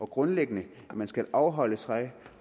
grundlæggende skal afholde sig